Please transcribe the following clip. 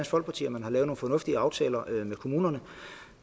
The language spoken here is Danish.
folkeparti at man har lavet nogle fornuftige aftaler med kommunerne